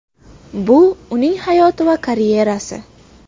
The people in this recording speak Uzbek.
Bu uning hayoti va karyerasi.